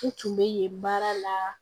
U tun bɛ yen baara la